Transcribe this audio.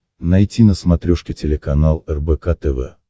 найти на смотрешке телеканал рбк тв